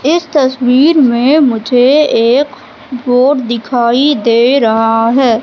इस तस्वीर में मुझे एक बोर्ड दिखाई दे रहा हैं।